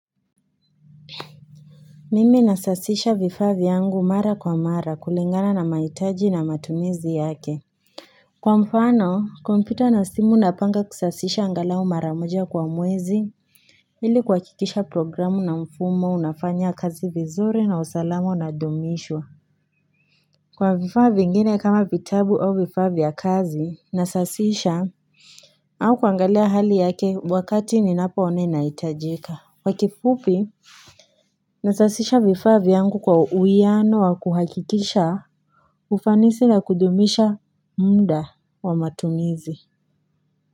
Mimi nasasisha vifaa vyangu mara kwa mara kulingana na maitaji na matumizi yake Kwa mfano kompyuta na simu napanga kusasisha angalau mara moja kwa mwezi ili kuwakikisha programu na mfumo unafanya kazi vizuri na usalama unadumishwa Kwa vifaa vingine kama vitabu au vifaa vya kazi nasasisha au kuangalia hali yake wakati ninapo ona inaitajika kwa kifupi Nasasisha vifaa vyangu kwa uiano wa kuhakikisha ufanisi na kudumisha muda wa matumizi.